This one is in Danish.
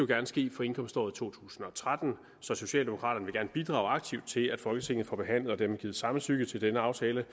gerne ske for indkomståret to tusind og tretten så socialdemokraterne vil gerne bidrage aktivt til at folketinget får behandlet og dermed givet samtykke til denne aftale